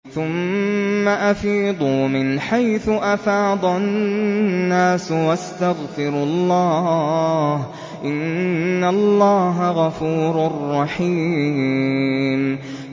ثُمَّ أَفِيضُوا مِنْ حَيْثُ أَفَاضَ النَّاسُ وَاسْتَغْفِرُوا اللَّهَ ۚ إِنَّ اللَّهَ غَفُورٌ رَّحِيمٌ